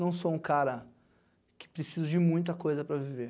Não sou um cara que precisa de muita coisa para viver.